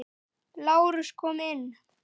LÁRUS: Kom inn!